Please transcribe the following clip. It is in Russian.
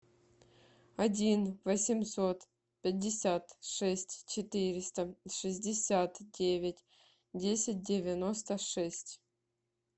один восемьсот пятьдесят шесть четыреста шестьдесят девять десять девяносто шесть